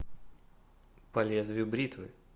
по лезвию бритвы